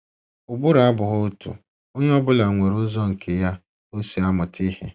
Ụbụrụ abụghị otu; onye ọ bụla nwere ụzọ nke ya o si amụta ihe.